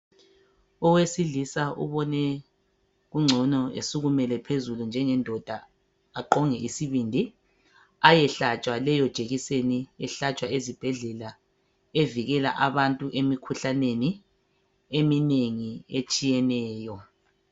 Owesilisa ubone kungcono esukumele phezulu njengendoda aqonge isibindi, ayehlatshwa leyo jekiseni ehlatshwa ezibhedlela evikele abantu emikhuhlane eminengi etshiyeneyo.